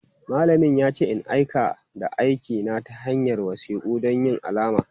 Malamin ya ce in aika da aikina ta hanyar wasiku don yin alama.